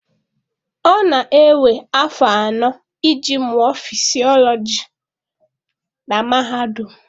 Ọ na-ewe afọ anọ iji mụọ fisiọlọjị na mahadum.